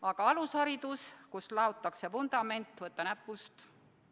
Aga alusharidus, kus laotakse vundament – võta näpust!